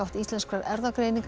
Íslenskrar erfðagreiningar